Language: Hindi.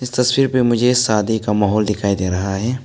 तस्वीर पे मुझे शादी का माहौल दिखाई दे रहा है।